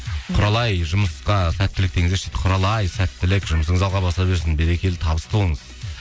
құралай жұмысқа сәттілік деңіздерші дейді құралай сәттілік жұмысыңыз алға баса берсін берекелі табысты болыңыз